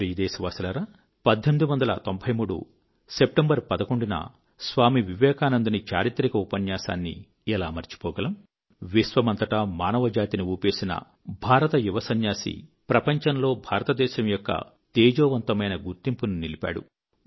నా ప్రియ దేశవాసులారా 11 సెప్టెంబర్ 1893 లో స్వామీ వివేకానందుని చారిత్రక ఉపన్యాసాన్ని ఎలా మరిచిపోగలము విశ్వమంతటా మానవజాతిని ఊపేసిన భారత యువ సన్యాసి ప్రపంచంలో భారతదేశం యొక్క తేజోవంతమైన గుర్తింపును నిలిపాడు